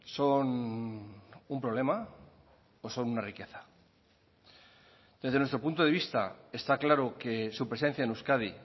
son un problema o son una riqueza desde nuestro punto de vista está claro que su presencia en euskadi